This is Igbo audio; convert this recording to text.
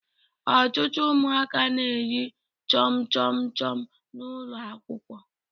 Ọtụtụ ụmụaka na-eri chọmchọm chọm n'ụlọ akwụkwọ